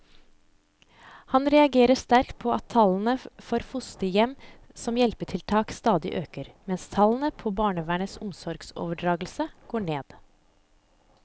Han reagerer sterkt på at tallene for fosterhjem som hjelpetiltak stadig øker, mens tallene på barnevernets omsorgsoverdragelser går ned.